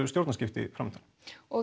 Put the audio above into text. stjórnarskipti fram undan og